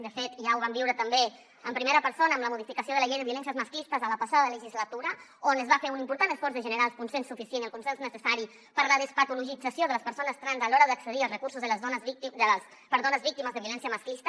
de fet ja ho vam viure també en primera persona amb la modificació de la llei de violències masclistes a la passada legislatura on es va fer un important esforç de generar el consens suficient i el consens necessari per la despatologització de les persones trans a l’hora d’accedir als recursos per a dones víctimes de violència masclista